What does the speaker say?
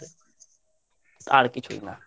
আর কিছুই না